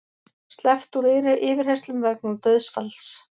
Sleppt úr yfirheyrslum vegna dauðsfalls